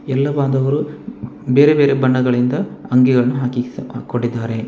ಇಲ್ಲಿ ಬಂದವರು ಬೇರೆ ಬೇರೆ ಬಣ್ಣಗಳಿಂದ ಅಂಗಿಗಳನ್ನು ಹಾಕಿ ಹಾಕೊಂಡಿದ್ದಾರೆ.